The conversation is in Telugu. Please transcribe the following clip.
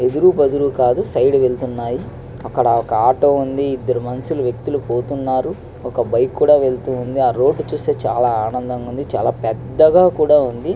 సైడ్ కి వేల్లుతునారు ఒక ఆటో వుంది ఇదరు వేకుతుల్లు పోతునారు ఒక బైక్ కూడా వెళ్ళుతుంది ఆ రోడ్ చాల చక్కగా వుంది.